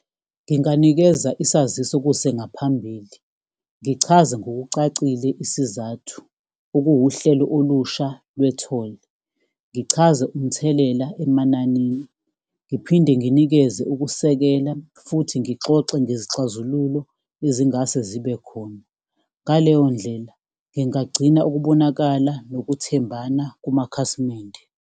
Nginganikeza isaziso kusengaphambili, ngichaze ngokucacile isizathu okuwuhlelo olusha lwe-toll. Ngichaze umthelela emanani, ngiphinde nginikeze ukusekela futhi ngixoxe ngezixazululo ezingase zibe khona, ngaleyo ndlela, ngingagcina ukubonakala nokuthembana kumakhasimende.